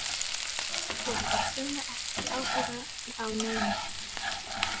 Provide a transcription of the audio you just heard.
Svo hafa sumir ekki áhuga á neinu.